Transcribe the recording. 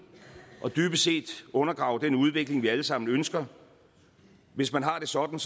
og dybest set undergrave den udvikling vi alle sammen ønsker hvis man har det sådan